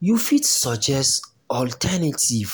you fit suggest alternative